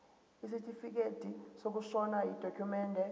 isitifikedi sokushona yidokhumende